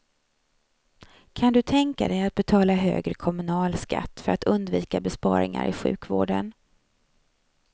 Kan du tänka dig att betala högre kommunalskatt för att undvika besparingar i sjukvården?